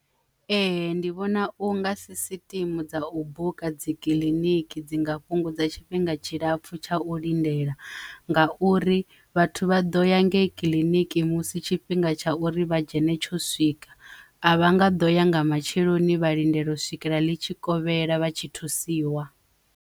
Ee, ndi vhona u nga si siṱe thimu dza u buka dzi kiliniki dzi nga fhungudza tshifhinga tshilapfu tsha u lindela nga uri vhathu vha ḓo ya ngei kiḽiniki musi tshifhinga tsha uri vha dzhene tsho swika a vha nga ḓo ya nga matsheloni vha lindela u swikela litshikovhela vha tshi thusiwa.